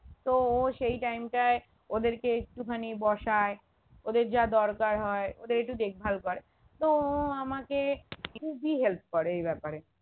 তো ও সেই time টায় ওদেরকে একটুখানি বসায় ওদের যা দরকার হয় ওদের একটু দেখভাল করে তো ও আমাকে খুবই help করে এই ব্যাপারে